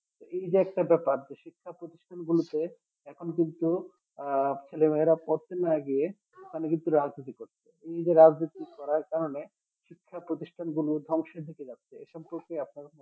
এই যে একটা ব্যাপার যে শিক্ষা প্রতিষ্ঠান গুলোতে এখনো কিন্তু আহ ছেলে মেয়েরা পড়তে না গিয়ে ওখানে কিন্তু রাজনীতি করছে এই যে রাজনীতি করার কারণে শিক্ষা প্রতিষ্ঠান গুলো ধ্বংসের দিকে যাচ্ছে এসব প্রশ্নে আপনার